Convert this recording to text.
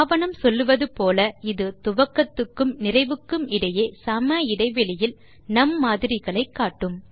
ஆவணம் சொல்லுவது போல இது துவக்கத்துக்கும் நிறைவுக்கும் இடையே சம இடைவெளிகளில் நும் மாதிரிகளை காட்டும்